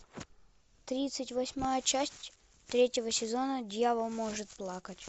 тридцать восьмая часть третьего сезона дьявол может плакать